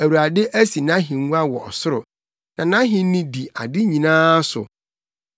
Awurade asi nʼahengua wɔ ɔsoro, na nʼahenni di ade nyinaa so.